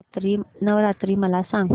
नवरात्री मला सांगा